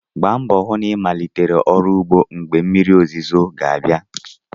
Gbaa mbọ hụ na ịmalitere ọrụ ugbo mgbe oge mmiri ozuzo ga-abịa.